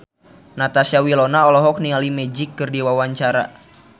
Natasha Wilona olohok ningali Magic keur diwawancara